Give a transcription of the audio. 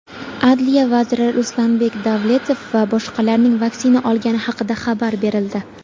Adliya vaziri Ruslanbek Davletov va boshqalarning vaksina olgani haqida xabar berildi.